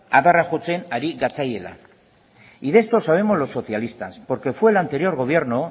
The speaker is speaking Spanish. adarra jotzen ari gatzaiela y de esto sabemos los socialistas porque fue el anterior gobierno